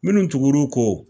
Minnu tugur'u kɔ